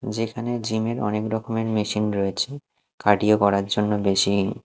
যেখানে জিম -এর অনেক রকমের মেশিন রয়েছে কার্ডিও করার জন্য মেশিন ।